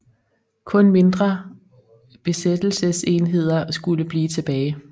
Kun mindre besættelsesenheder skulle blive tilbage